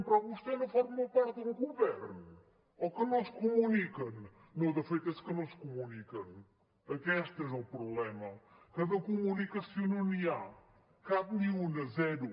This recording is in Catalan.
però vostè no forma part del govern o que no es comuniquen no de fet és que no es comuniquen aquest és el problema que de comunicació no n’hi ha cap ni una zero